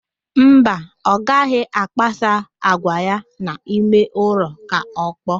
Mba, ọ gaghị agbasa àgwà ya n'ime ụlọ ka ọkpọọ